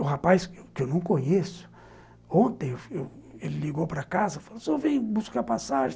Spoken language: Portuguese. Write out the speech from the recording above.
O rapaz, que eu não conheço, ontem, ele ligou para casa e falou assim, você vem buscar passagem?